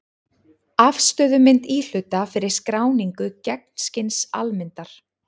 Afstöðumynd íhluta fyrir skráningu gegnskins-almyndar.